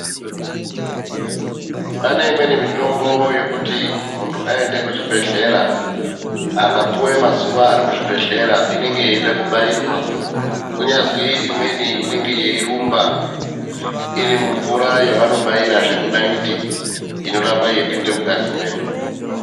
Pane imweni mitombo yekuti muntu aende kuchibhedhlera akapuwe mazuva ari muzvibhedhlera inenge yeida kubairwa kunyazi imweni inenge yeirumba iri mumvura yavano baira zvee munayiti inoramba yeipinda mungazi medu.